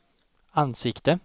ansikte